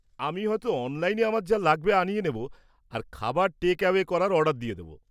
আমি হয়ত অনলাইনে আমার যা লাগবে আনিয়ে নেব আর খাবার টেক-অ্যাওয়ে করার অর্ডার দিয়ে দেব।